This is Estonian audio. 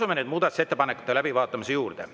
Asume nüüd muudatusettepanekute läbivaatamise juurde.